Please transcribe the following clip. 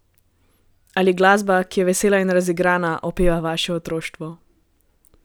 Ali glasba, ki je vesela in razigrana, opeva vaše otroštvo?